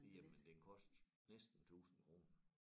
Jamen den koster næsten 1000 kroner